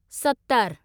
सतरि